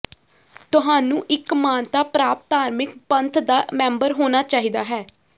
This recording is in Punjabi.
ਤੁਹਾਨੂੰ ਇੱਕ ਮਾਨਤਾ ਪ੍ਰਾਪਤ ਧਾਰਮਿਕ ਪੰਥ ਦਾ ਮੈਂਬਰ ਹੋਣਾ ਚਾਹੀਦਾ ਹੈ